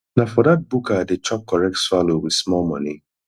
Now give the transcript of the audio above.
na for dat buka i dey chop correct swallow wit small moni